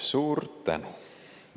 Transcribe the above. Suur tänu!